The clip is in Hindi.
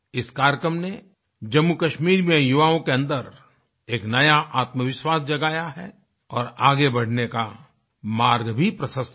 इस कार्यक्रम ने जम्मूकश्मीर में युवाओं के अन्दर एक नया आत्मविश्वास जगाया है और आगे बढ़ने का मार्ग भी प्रशस्त किया